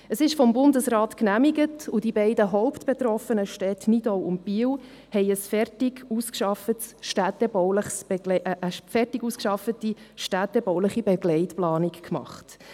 Es ist vom Bundesrat genehmigt und die beiden hauptbetroffenen Städte Nidau und Biel haben eine fertig ausgearbeitete städtebauliche Begleitplanung gemacht.